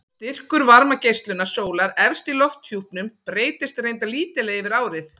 Styrkur varmageislunar sólar efst í lofthjúpnum breytist reyndar lítillega yfir árið.